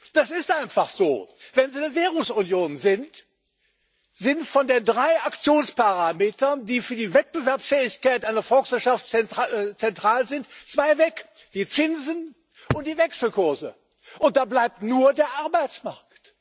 Das ist einfach so. Wenn Sie eine Währungsunion sind, sind von den drei Aktionsparametern, die für die Wettbewerbsfähigkeit einer Volkswirtschaft zentral sind, zwei weg die Zinsen und die Wechselkurse. Da bleibt nur der Arbeitsmarkt.